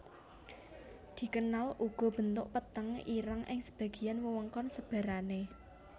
Dikenal uga bentuk peteng ireng ing sebagian wewengkon sebarane